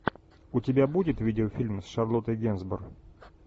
у тебя будет видеофильм с шарлоттой генсбур